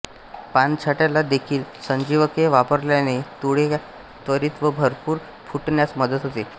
पानछाट्याना देखील संजीवके वापरल्याने मुळया त्वरित व भरपूर फुटण्यास मदत होते